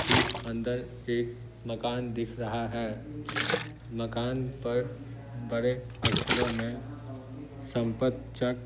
ठीक अंदर एक मकान दिख रहा है मकान पर बड़े अक्षरों में संपतचक--